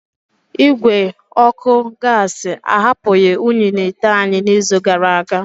Igwe ọkụ gasi ahapụghị unyi n'ite anyị n'izu gara aga.